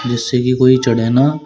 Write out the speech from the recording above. जिससे की कोई चढ़े ना--